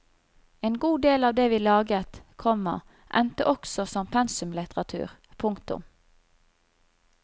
En god del av det vi laget, komma endte også som pensumlitteratur. punktum